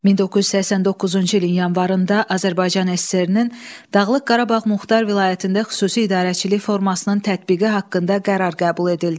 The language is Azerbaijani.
1989-cu ilin yanvarında Azərbaycan SSR-nin Dağlıq Qarabağ Muxtar Vilayətində xüsusi idarəçilik formasının tətbiqi haqqında qərar qəbul edildi.